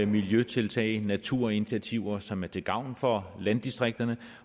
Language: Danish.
miljøtiltag naturinitiativer som er til gavn for landdistrikterne